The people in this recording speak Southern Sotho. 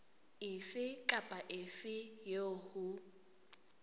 efe kapa efe eo ho